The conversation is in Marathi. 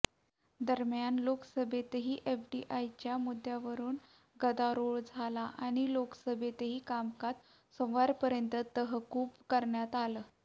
दरम्यान लोकसभेतही एफडीआयच्या मुद्यावरून गदारोळ झाला आणि लोकसभेचंही कामकाज सोमवारपर्यंत तहकूब करण्यात आलं